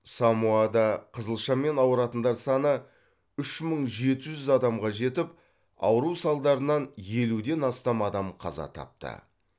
самоада қызылшамен ауыратындар саны үш мың жеті жүз адамға жетіп ауру салдарынан елуден астам адам қаза тапты